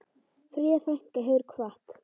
Fríða frænka hefur kvatt.